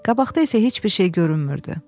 Qabaqda isə heç bir şey görünmürdü.